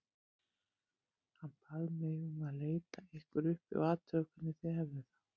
Hann bað mig um að leita ykkur uppi og athuga hvernig þið hefðuð það